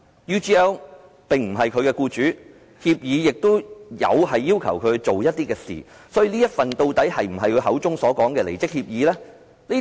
UGL 並非他的僱主，協議亦有要求他做某些事，所以這份協議究竟是否他口中所說的離職協議？